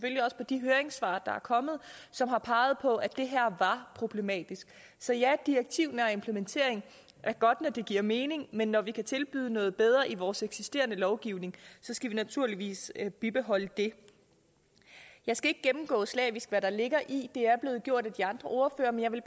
de høringssvar der er kommet som har peget på at det her var problematisk så ja direktivnær implementering er godt når det giver mening men når vi kan tilbyde noget bedre i vores eksisterende lovgivning skal vi naturligvis bibeholde det jeg skal ikke gennemgå slavisk hvad der ligger i det det er blevet gjort af de andre ordførere men jeg vil